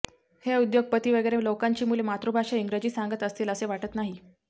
हे उद्योगपती वगैरे लोकांची मुले मातृभाषा इंग्रजी सांगत असतील असे वाटत नाही